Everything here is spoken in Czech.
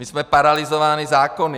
My jsme paralyzováni zákony.